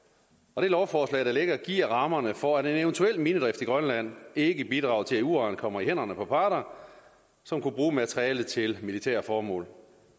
og det lovforslag der ligger giver rammerne for at en eventuel minedrift i grønland ikke bidrager til at uran kommer i hænderne på parter som kunne bruge materialet til militære formål